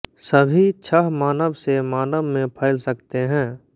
सभी छह मानव से मानव में फैल सकते हैं